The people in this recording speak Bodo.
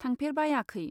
थांफेरबायाखै।